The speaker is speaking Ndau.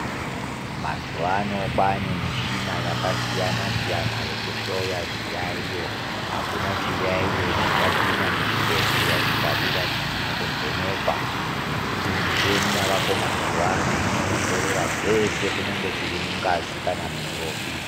Mazwano kwane michina yakasiyana siyana yokuhloya zviyayiyo akuna chiyayiyo chichapinda muchibhedhleya chikabuda chisina kuvhenekwa nekuti muchini yavako mazwano inowongorora zvese kunyangwe zviri mungazi kana muropi